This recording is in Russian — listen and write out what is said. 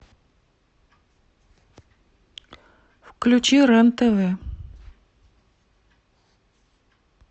включи рен тв